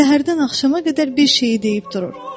Səhərdən axşama qədər bir şeyi deyib durur.